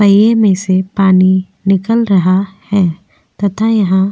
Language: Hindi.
पहिए में से पानी निकल रहा है तथा यहां पे --